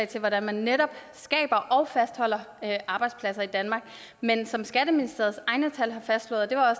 til hvordan man netop skaber og fastholder arbejdspladser i danmark men som skatteministeriets egne tal har fastslået det var